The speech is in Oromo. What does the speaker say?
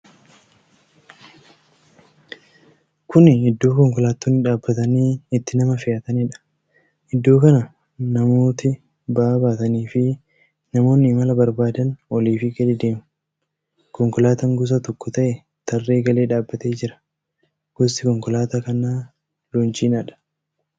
Kuni iddoo konkolaattonni dhaabatanii itti nama fe'ataniidha. Iddoo kana namooti ba'aa baataniifi namoonni imala barbaadan oliifi gadi deemu. Konkolaataan gosa tokko ta'e tarree galee dhaabatee jira. Gosti konkolaataa kanaa loonchiinaadha.